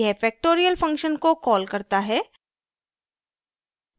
यह factorial function को calls करता है